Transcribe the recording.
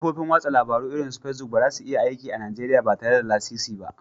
Kafofin watsa labarun irin su Facebook ba za su iya aiki a Najeriya ba tare da lasisi ba